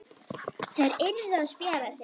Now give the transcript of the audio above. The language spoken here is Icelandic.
Þær yrðu að spjara sig.